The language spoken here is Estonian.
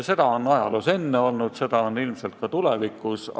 Seda on ajaloos enne olnud ja seda on ilmselt ka tulevikus.